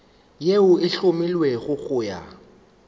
yeo e hlomilwego go ya